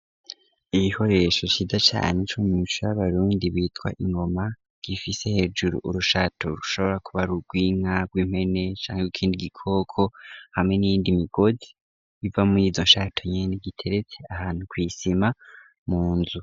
Igikoresho Ciza cane co mumuco wabarundi citwa Ingoma gifise hejuru urushato rushobora kuba Ari urwinka rwimpene igikoko hamwe niyindi migozi iva muri izonshato nyene iteretse ahantu kwisima munzu.